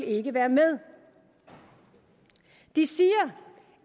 ikke være med de siger